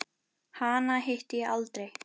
Hana hitti ég aldrei.